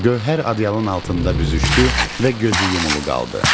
Gövhər ədyalın altında büzüşdü və gözü yumulu qaldı.